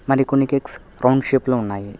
మరికొన్ని cakes round shape లో ఉన్నాయి.